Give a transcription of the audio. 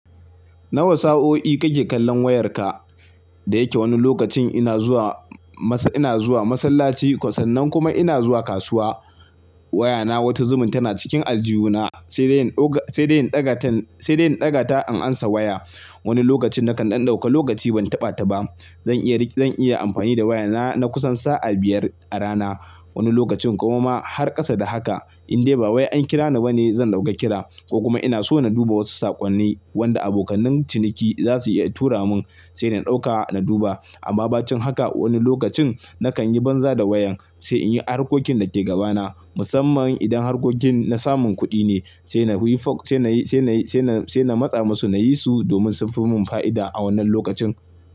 Nawa sa'o'i kake kallon wayarka? Da yake wani lokacin ina zuwa masa, ina zuwa masallaci, kwa sannan kuma ina zuwa kasuwa. Wayana wata zubin tana cikin aljihu na, sai dai in dauka, sai dai in ɗaga tan, sai dai in ɗaga ta in ansa waya. Wani lokacin nakan ɗan ɗauka lokaci ban taɓa ta ba. Zan iya rike, zan iya amfani da wayana na kusan sa'a biyar a rana. Wani lokacin kuma ma har ƙasa da haka. In dai ba wai an kira ni ba ne zan ɗauka kira ko kuma ina so na duba wasu saƙonni wanda abokanai ciniki za su iya tura mun sai na ɗauka na duba. Amma bacin haka wani lokacin nakan yi banza da wayan sai in yi harkokin da ke gabana. Musamman idan harkokin na samun kuɗi ne sai na wi fo, sai na yi, sai na yi, sai na, sai na matsa musu na yi su domin sun fi mun fa'ida a wannan lokacin.